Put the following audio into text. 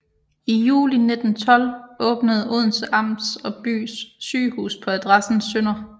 I juli 1912 åbnede Odense Amts og Bys Sygehus på adressen Sdr